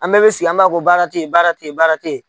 An bɛɛ bɛ sigi an b'a fɔ ko baara te yen, baara te yen baara te yen.